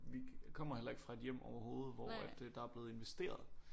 Vi kommer heller ikke fra et hjem overhovede hvor at øh der er blevet investeret